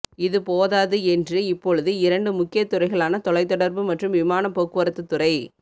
இது போதாது என்று இப்பொழுது இரண்டு முக்கிய துறைகளான தொலைதொடர்பு மற்றும் விமானப் போக்குவரத்துத் துறை